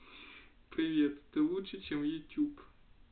привет ты лучше чем ютюб